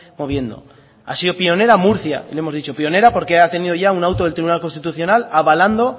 moviendo ha sido pionera murcia y lo hemos dicho pionera porque ha tenido ya un auto del tribunal constitucional avalando